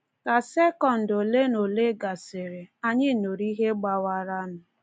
Ka sekọnd olenaole gasịrị, anyị nụrụ ihe gbawaranụ.